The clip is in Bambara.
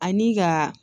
Ani ka